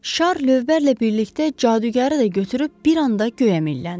Şar lövbərlə birlikdə cadugəri də götürüb bir anda göyə milləndi.